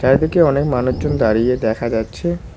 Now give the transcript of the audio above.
চারিদিকে অনেক মানুষজন দাঁড়িয়ে দেখা যাচ্ছে।